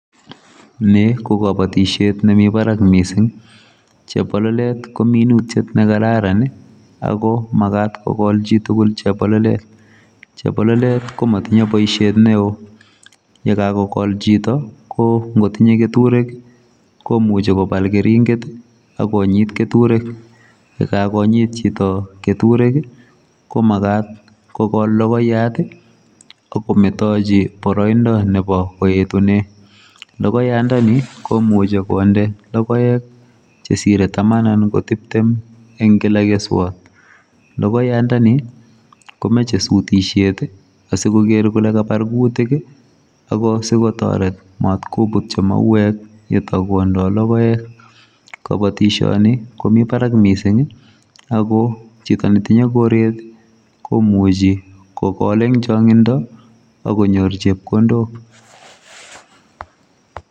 ni kogobotisiet nemii barak mising, chebololet ko minutyet negararan ago magaat kogol chitugul chebololet, chebololet komotinye boisiet neoo, ye gagogool chito koo ngotinye keturek komuche kobaal keringet ak konyiit keturek, yegagonyiit chito keturek ii komagat kogool logoiyat ak kometochi boroindo koetunen, logonyandani komuche konde logoek chesire taman anan ko tiptem en kila keswoot, logoyandani komoche sutisyeet ii asigogeer kole kabar guutik asi kotoret maat kobutyi maweek yuto bwonundoi logoek, kobotisyoni komii baraak mising ago chito netinye koreet komuche kogool en chongindo ak konyoor chepkondok.